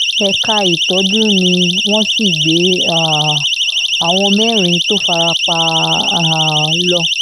ẹ̀ka ìtọ́jú ni wọ́n sì gbé um àwọn mẹ́rin tó fara pa um lọ